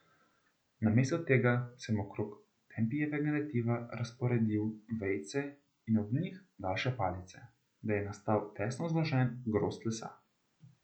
Namesto tega sem okrog Tempijevega netiva razporedil vejice in ob njih daljše palice, da je nastal tesno zložen grozd lesa.